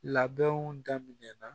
Labɛnw daminɛ na